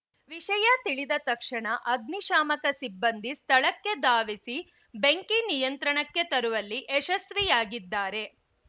ವಿಷಯ ತಿಳಿದ ತಕ್ಷಣ ಅಗ್ನಿಶಾಮಕ ಸಿಬ್ಬಂದಿ ಸ್ಥಳಕ್ಕೆ ಧಾವಿಸಿ ಬೆಂಕಿ ನಿಯಂತ್ರಣಕ್ಕೆ ತರುವಲ್ಲಿ ಯಶಸ್ವಿಯಾಗಿದ್ದಾರೆ